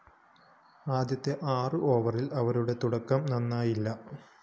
ആദ്യ ആറ് ഓവറില്‍ അവരുടെ തുടക്കം നന്നായില്ല